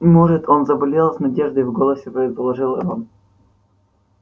может он заболел с надеждой в голосе предположил рон